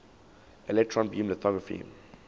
electron beam lithography